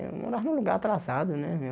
Eu morava num lugar atrasado, né?